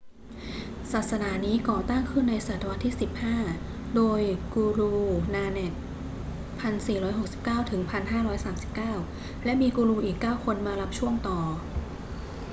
ศาสนานี้ก่อตั้งขึ้นในศตวรรษที่ 15 โดย guru nanak 1469–1539 และมีกูรูอีก 9 คนมารับช่วงต่อ